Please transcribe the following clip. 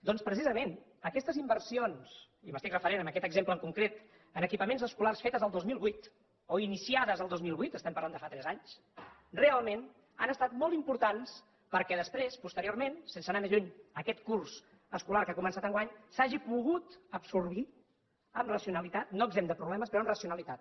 doncs precisament aquestes inversions i m’estic referint a aquest exemple en concret en equipaments escolars fetes el dos mil vuit o iniciades el dos mil vuit estem parlant de fa tres anys realment han estat molt importants perquè després posteriorment sense anar més lluny aquest curs escolar que ha començat enguany s’hagin pogut absorbir amb racionalitat no exempt de problemes però amb racionalitat